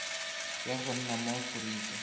ya go nna mo aforika